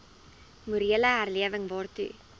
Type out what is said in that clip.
morele herlewing waartoe